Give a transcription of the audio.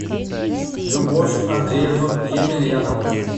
любовь андреевну емельянову